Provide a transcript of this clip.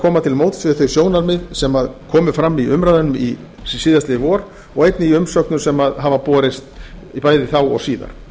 koma til móts við þau sjónarmið sem komu fram í umræðum í vor og einnig í umsögnum sem hafa borist bæði þá og síðar